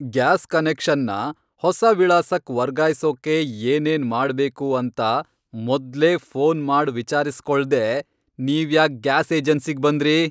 Gas ಕನೆಕ್ಷನ್ನ ಹೊಸ ವಿಳಾಸಕ್ ವರ್ಗಾಯ್ಸೋಕೆ ಏನೇನ್ ಮಾಡ್ಬೇಕು ಅಂತ ಮೊದ್ಲೇ ಫೋನ್ ಮಾಡ್ ವಿಚಾರ್ಸ್ಕೊಳ್ದೇ ನೀವ್ಯಾಕ್ ಗ್ಯಾಸ್ ಏಜೆನ್ಸಿಗ್ ಬಂದ್ರಿ?!